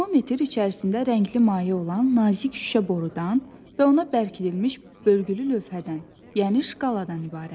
Termometr içərisində rəngli maye olan nazik şüşə borudan və ona bərkidilmiş bölgülü lövhədən, yəni şkaladan ibarətdir.